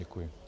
Děkuji.